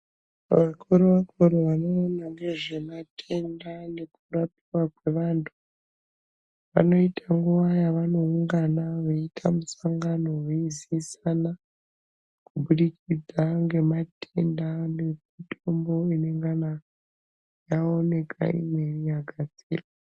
Vakuru vanoona ngezvematenda nekurapwa kwevanthu vanoita nguwa yavanoungana veita musangano veizivisana kuburikid,a ngematenda nemitombo yenyama yaonekwa yagadzirwa.